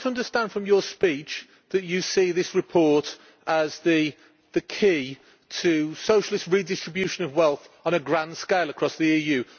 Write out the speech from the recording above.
Am I to understand from your speech that you see this report as the key to socialist redistribution of wealth on a grand scale across the EU?